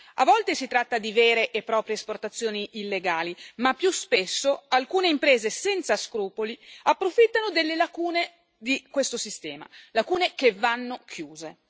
A volte si tratta di vere e proprie esportazioni illegali, ma più spesso alcune imprese senza scrupoli approfittano delle lacune di questo sistema, lacune che vanno chiuse.